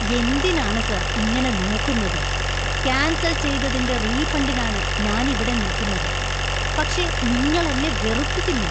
എന്തിനാണ് സാർ ഇങ്ങനെ നോക്കുന്നത്? കാന്‍സല്‍ ചെയ്തതിന്‍റെ റീഫണ്ടിനാണ് ഞാന്‍ ഇവിടെ നിൽക്കുന്നത്, പക്ഷെ നിങ്ങളെന്നെ വെറുപ്പിക്കുന്നു.